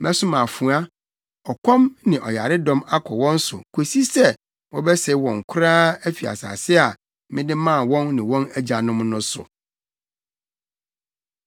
Mɛsoma afoa, ɔkɔm ne ɔyaredɔm akɔ wɔn so kosi sɛ wɔbɛsɛe wɔn koraa afi asase a mede maa wɔn ne wɔn agyanom no so.’ ”